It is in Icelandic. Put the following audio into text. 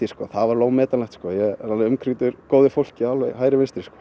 það var alveg ómetanlegt ég er alveg umkringdur góðu fólki alveg hægri vinstri